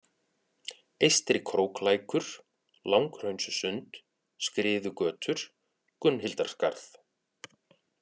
Eystri-Króklækur, Langhraunssund, Skriðugötur, Gunnhildarskarð